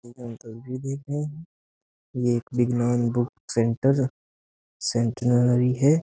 एक अंकल भी देख रहे हैं ये एक विज्ञान बुक सेंटर सेंटिनरी है।